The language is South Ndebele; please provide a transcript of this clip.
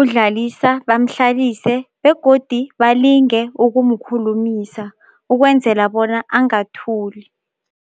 uDlalisa bamhlalise begodi balinge ukumkhulumisa ukwenzela bona angathuli.